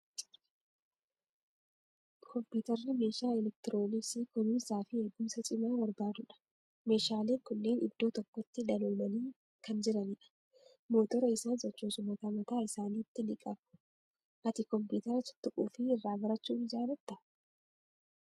Kompiitarri meeshaa elektirooniksii kunuunsaa fi eegumsa cimaa barbaadudha. Meeshaaleen kunneen idddoo tokkotti danoomanii kan jiranidha. Motora isaan sochoosu mataa mataa isaaniitti ni qabu. Ati kompiitara tuttuquu fi irraa barachuu ni jaalattaa?